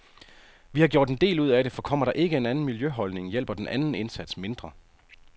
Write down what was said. Vi har gjort en del ud af det, for kommer der ikke en anden miljøholdning hjælper den anden indsats mindre.